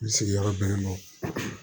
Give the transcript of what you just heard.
N sigiyɔrɔ bɛnnen don